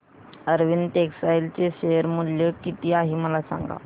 Arvind textile चे share मूल्य किती आहे मला सांगा